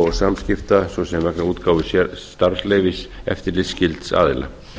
og samskipta svo sem vegna útgáfu starfsleyfis eftirlitsskylds aðila